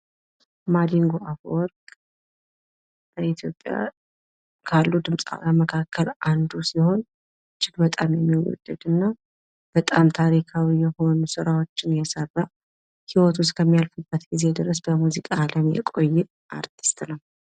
ማዲንጎ አፈወርቅ በኢትዮጵያ ካሉ ድምፃውያን መካከል አንዱ ሲሆን እጅግ በጣም የሚወደድ እና በጣም ታሪካዊ የሆኑ ስራዎችን የሰራ ህይወቱ እስከምያልፍበት ጊዜ ድረስ በሙዚቃ ዓለም የቆየ አርቲስት ነው::